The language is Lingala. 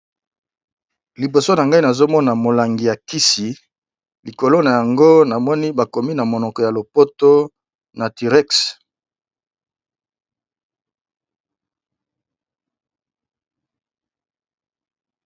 Liboso na ngai nazomona molangi ya kisi likolo na yango namoni bakomi na monoko ya lopoto Naturex.